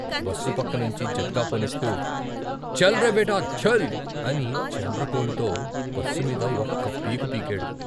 Bus పక్క నుంచి జట్కా పోనిస్తూ ఛల్ రే బేటా ఛల్ అని చండ్రకోలతో బస్సు మీద ఒక్క పీకు పీకాడు.